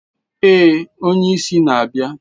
Ee, onye isi na-abịa.